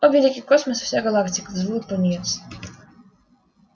о великий космос и вся галактика взвыл пониетс